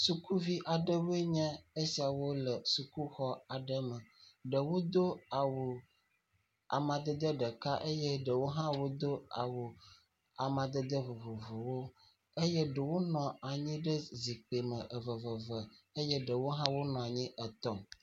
Sukuvi aɖewo nye esiawo le sukuxɔ aɖe me. Ɖewo do awu amadede ɖeka eye eye ɖewo hã do awu amadede vovovowo eye ɖewonɔ anyi ɖe zikpui me veveve eye eɖewo hã wonɔ anyi etɔ̃.